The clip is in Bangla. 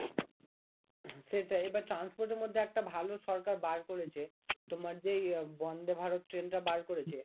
সেটাই এবার transport এর মধ্যে একটা ভালো সরকার বার করেছে তোমার যে এই বন্দে ভারত ট্রেনটা বার করেছে